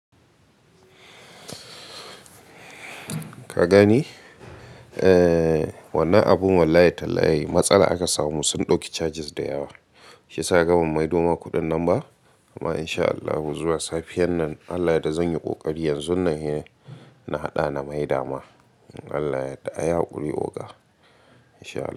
Ka gani? Eh, wannan abun wallahi tallahi matsala aka samu sun dauki charges da yawa. Shi yasa ka ga ban maido ma kuɗin nan ba? Amma insha Allahu zuwa safiyar nan Allah ya da zanyi ƙoƙari yanzun nan hi na haɗa na maida ma. Allah ya yarda, a yi haƙuri oga in shaa Allah.